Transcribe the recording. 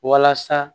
Walasa